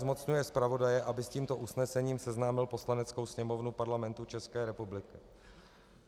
Zmocňuje zpravodaje, aby s tímto usnesením seznámil Poslaneckou sněmovnu Parlamentu České republiky.